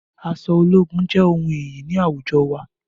Aṣọ ológun jé ohùn iyì ni àwùjọ wa